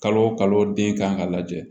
Kalo o kalo den kan ka lajɛ